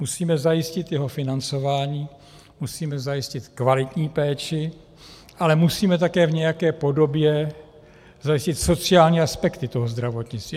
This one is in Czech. Musíme zajistit jeho financování, musíme zajistit kvalitní péči, ale musíme taky v nějaké podobě zajistit sociální aspekty toho zdravotnictví.